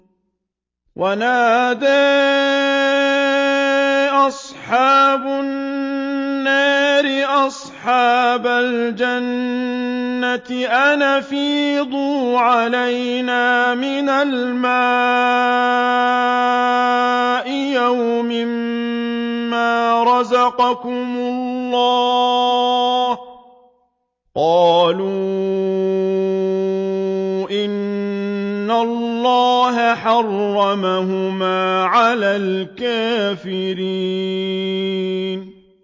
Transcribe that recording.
وَنَادَىٰ أَصْحَابُ النَّارِ أَصْحَابَ الْجَنَّةِ أَنْ أَفِيضُوا عَلَيْنَا مِنَ الْمَاءِ أَوْ مِمَّا رَزَقَكُمُ اللَّهُ ۚ قَالُوا إِنَّ اللَّهَ حَرَّمَهُمَا عَلَى الْكَافِرِينَ